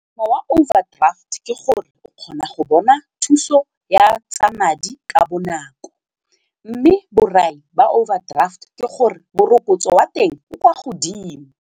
overdraft ke gore o kgona go bona thuso ya tsa madi ka bonako mme borai ba overdraft ke gore morokotso wa teng o kwa godimo.